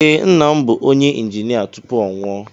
Ee, nna m bu onye injinia tupu ọ nwụọ